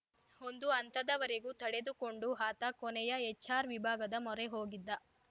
ಒಂದು ಹಂತದವರೆಗೂ ತಡೆದುಕೊಂಡು ಆತ ಕೊನೆಯ ಎಚ್‌ಆರ್‌ ವಿಭಾಗದ ಮೊರೆ ಹೋಗಿದ್ದ